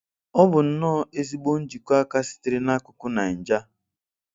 Ọ bụ nnọ́ọ́ ezịgbọ njìkọ́ àkà sịtere Na ákùkù Naịja